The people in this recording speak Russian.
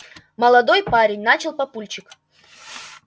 молодой парень начал папульчик